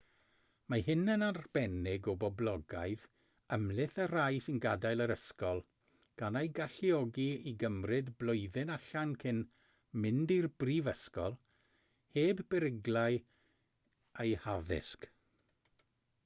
mae hyn yn arbennig o boblogaidd ymhlith y rhai sy'n gadael yr ysgol gan eu galluogi i gymryd blwyddyn allan cyn mynd i'r brifysgol heb beryglu eu haddysg